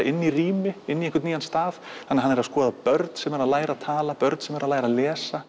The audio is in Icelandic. inn í rými inn í einhvern nýjan stað hann er að skoða börn sem eru að læra að tala börn sem eru að læra að lesa